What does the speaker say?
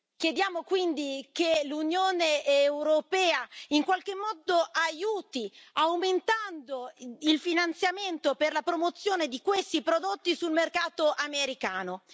Chiediamo quindi che l'Unione europea in qualche modo aiuti aumentando il finanziamento per la promozione di questi prodotti sul mercato americano.